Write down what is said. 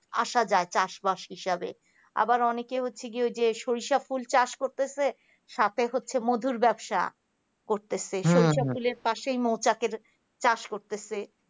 আসা যায় চাষবাস হিসাবে আবার অনেকে হচ্ছে কি ওই যে সরিষা ফুল চাষ করতেছে সাথে হচ্ছে মধুর ব্যবসা করতেছে সরিষা ফুলের পাশেই মৌচাকের চাষ করতেছে